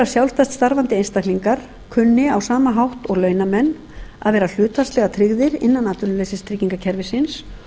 sjálfstætt starfandi einstaklingar kunni á sama hátt og launamenn að vera hlutfallslega tryggðir innan atvinnuleysistryggingakerfisins